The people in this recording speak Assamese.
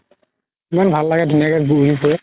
ইমান ভাল লাগে ধুনীয়া কে ঘুৰি ফুৰে